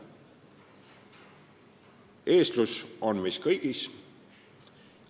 Eestlus on meis kõigis.